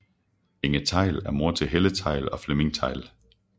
Inge Theil er mor til Helle Theil og Flemming Theil